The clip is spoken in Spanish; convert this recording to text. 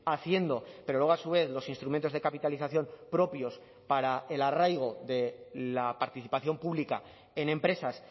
haciendo pero luego a su vez los instrumentos de capitalización propios para el arraigo de la participación pública en empresas